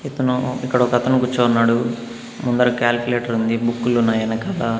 ఇతను ఇక్కడ ఒకతను కూర్చోనున్నాడు ముందర క్యాలిక్యులేటర్ ఉంది బుక్కులు ఉన్నాయి ఎనకాల.